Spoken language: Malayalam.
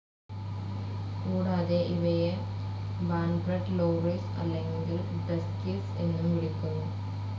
കൂടാതെ, ഇവയെ ബാൻറഡ് ലോറിസ് അല്ലെങ്കിൽ ഡസ്ക്കിസ് എന്നും വിളിക്കുന്നു.